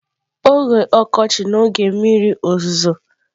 Oge ọkọchị na oge mmiri ozuzo.